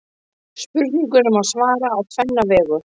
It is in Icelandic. Spurningunni má svara á tvenna vegu.